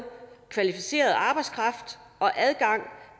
kvalificeret arbejdskraft og adgang